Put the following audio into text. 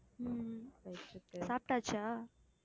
உம் உம் சாப்பிட்டாச்சா